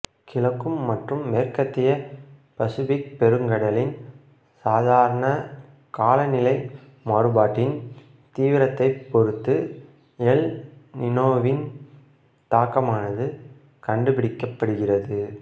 கிழக்கும் மற்றும் மேற்கத்திய பசிபிக் பெருங்கடலின் சாதாரண காலநிலை மாறுபாட்டின் தீவிரத்தை பொருத்து எல் நினோவின் தாக்கமானது கண்டுபிடிக்கப்படுகிறது